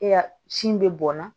E y'a sin bɛ bɔn na